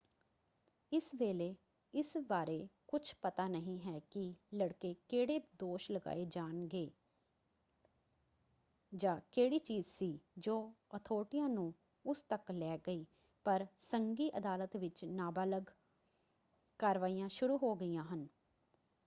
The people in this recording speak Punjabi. ਇਸ ਵੇਲੇ ਇਸ ਬਾਰੇ ਕੁਝ ਪਤਾ ਨਹੀਂ ਹੈ ਕਿ ਲੜਕੇ ਕਿਹੜੇ ਦੋਸ਼ ਲਗਾਏ ਜਾਣਗੇ ਜਾਂ ਕਿਹੜੀ ਚੀਜ਼ ਸੀ ਜੋ ਅਥਾਰਟੀਆਂ ਨੂੰ ਉਸ ਤੱਕ ਲੈ ਗਈ ਪਰ ਸੰਘੀ ਅਦਾਲਤ ਵਿੱਚ ਨਾਬਾਲਗ ਕਾਰਵਾਈਆਂ ਸ਼ੁਰੂ ਹੋ ਗਈਆਂ ਹਨ।